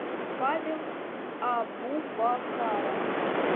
павел абубакаров